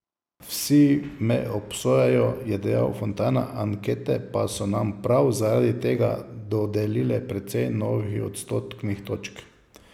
Vsi me obsojajo, je dejal Fontana, ankete pa so nam prav zaradi tega dodelile precej novih odstotnih točk.